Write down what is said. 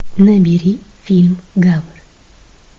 набери фильм гавр